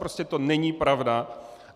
Prostě to není pravda.